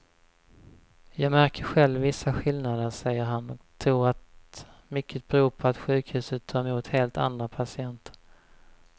Jag märker själv vissa skillnader, säger han och tror att mycket beror på att sjukhuset tar emot helt andra patienter.